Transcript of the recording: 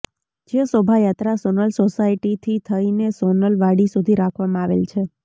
જે શોભાયાત્રા સોનલ સોસાયટીથી થઈને સોનલ વાડી સુધી રાખવામાં આવેલ છે